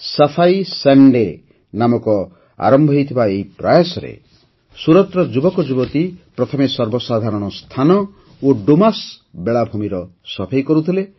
ସଫାଇ ସନ୍ଡେ ନାମରେ ଆରମ୍ଭ ହୋଇଥିବା ଏହି ପ୍ରୟାସରେ ସୁରତର ଯୁବକଯୁବତୀ ପ୍ରଥମେ ସର୍ବସାଧାରଣ ସ୍ଥାନ ଓ ଡୁମାସ୍ ବେଳାଭୂମିର ସଫେଇ କରୁଥିଲେ